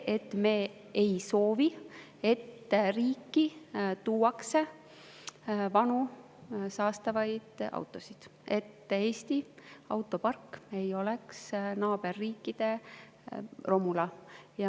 Sest me ei soovi, et riiki tuuakse vanu saastavaid autosid, et Eesti autopark oleks naaberriikide romula.